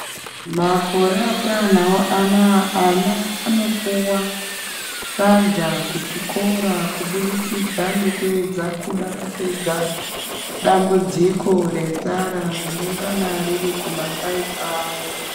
Makore atanawwo anaya ana anopuwa sadza ku chikora kubudikidza ngeyedza kuda kupedza dambudziko re nzara rinongana riri kumakanyi kwavo.